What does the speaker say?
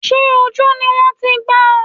Sé ojú ni wọ́n ti gbá ọ?